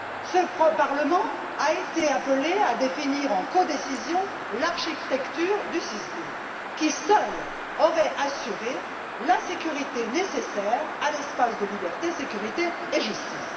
Ce Parlement a été appelé à définir en codécision l'architecture du SIS II qui, à lui seul, aurait assuré la sécurité nécessaire à l'espace de liberté, de sécurité et de justice.